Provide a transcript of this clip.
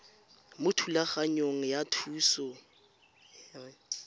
mo thulaganyong ya thuso y